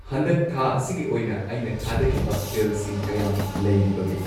ꯍꯟꯗꯛ ꯊꯥ ꯑꯁꯤꯒꯤ ꯑꯣꯏꯅ ꯑꯩꯅ ꯊꯥꯗꯒꯤꯕ ꯕꯤꯜꯁꯤꯡ ꯀꯌꯥꯝ ꯂꯩꯔꯤꯕꯒꯦ